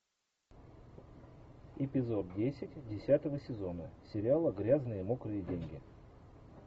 эпизод десять десятого сезона сериала грязные мокрые деньги